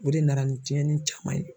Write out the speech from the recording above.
O de nana ni tiɲɛni caman ye.